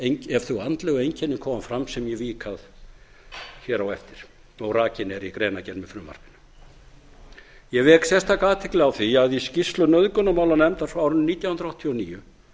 ef þau andlegu einkenni koma fram sem ég kvíða að hér á eftir og rakin eru í greinargerð með frumvarpinu ég vek sérstaka athygli á því að í skýrslu nauðgunarmálanefndar frá árinu nítján hundruð áttatíu og níu